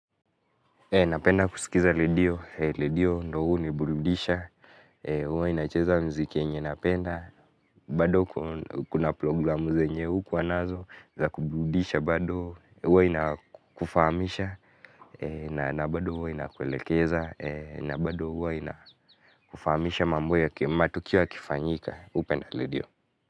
Napenda kusikiza redio, redio ndiyo huniburudisha, huwa inacheza muziki yenye ninapenda, bado kuna programu zenye hukuwa nazo za kuburudisha bado huwa inakufahamisha, na bado huwa inakuelekeza, na bado huwa inakufahamisha mambo ya matukio yakifanyika, hupenda redio.